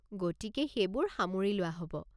গতিকে সেইবোৰ সামৰি লোৱা হ'ব।